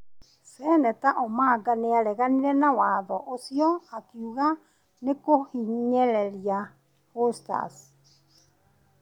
Seneta Omanga nĩareganire na watho ũcio, akiuga nĩkũhinyereria 'hustlers' ,